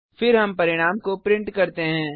फिर हम परिणाम को प्रिंट करते हैं